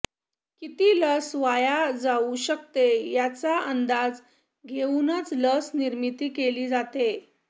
किती लस वाया जाऊ शकते याचा अंदाज घेऊनच लस निर्मिती केली जाते